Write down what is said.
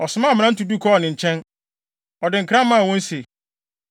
ɔsomaa mmrante du kɔɔ ne nkyɛn. Ɔde nkra maa wɔn se,